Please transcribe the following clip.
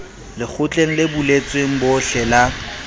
lekgotleng le buletsweng bohle la